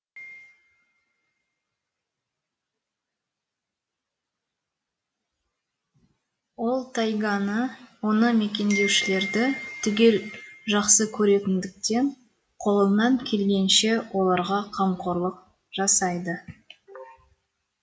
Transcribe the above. ол тайганы оны мекендеушілерді түгел жақсы көретіндіктен қолынан келгенше оларға қамқорлық жасайды